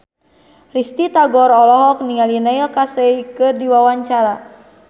Risty Tagor olohok ningali Neil Casey keur diwawancara